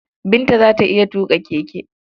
Binta za ta iya tuƙa keke.